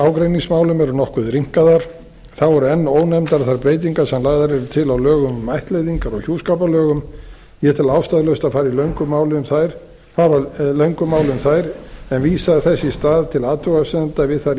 meðlagságreiningsmálum eru nokkuð rýmkaðar þá eru einn ónefndar þær breytingar sem lagðar eru til á lögum um ættleiðingar og hjúskaparlögum ég tel ástæðulaust að fara í löngu máli um þær en vísa þess í stað til athugasemda við þær í